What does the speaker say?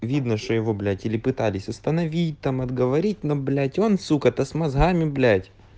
видно что его блять или пытались установить там отговорить но блять он сука то с мозгами блять